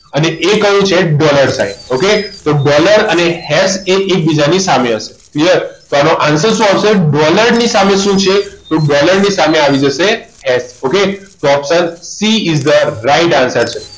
અને એ કહ્યું છે dollar sign okay તો dollar અને હેસ એકબીજાની સામે હશે clear તો આનો answer શું આવશે dollar ની સામે શું છે તો dollar ની સામે આવી જશે okay તો option c is the right answer